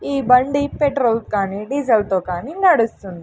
ఈ బండి పెట్రోల్ కానీ డీజిల్ తో కానీ నడుస్తుంది.